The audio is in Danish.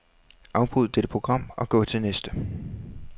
Afbryd dette program og gå til næste.